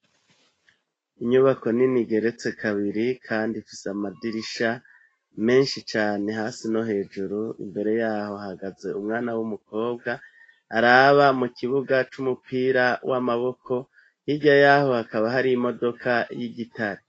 Inyubako nini igeretse kabiri kandi ifise amadirisha menshi cane hasi no hejuru, imbere yaho hagaze umwana w'umukobwa araba mu kibuga c'umupira w'amaboko hirya yaho hakaba hari imodoka y'igitare.